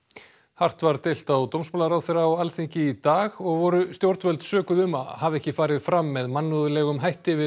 hart var deilt á dómsmálaráðherra á Alþingi í dag og voru stjórnvöld sökuð um að hafa ekki farið fram með mannúðlegum hætti við